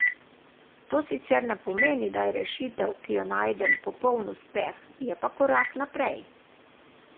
To sicer ne pomeni, da je rešitev, ki jo najdem, popolni uspeh, je pa korak naprej.